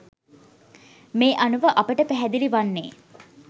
මේ අනුව අපට පැහැදිලි වන්නේ